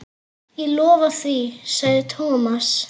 Ég lofa því sagði Thomas.